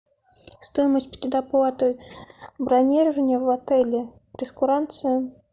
стоимость предоплаты бронирования в отеле прейскурант цен